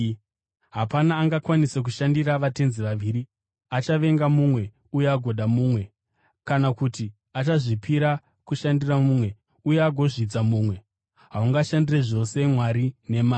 “Hapana angakwanise kushandira vatenzi vaviri. Achavenga mumwe uye agoda mumwe, kana kuti achazvipira kushandira mumwe uye agozvidza mumwe. Haungashandire zvose Mwari neMari.